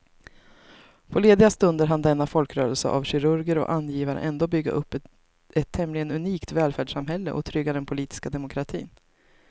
På lediga stunder hann denna folkrörelse av kirurger och angivare ändå bygga upp ett tämligen unikt välfärdssamhälle och trygga den politiska demokratin.